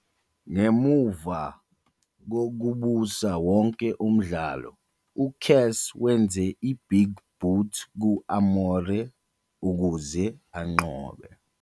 Ngemuva kokubusa wonke umdlalo, uCass wenze i-Big Boot ku-Amore ukuze anqobe.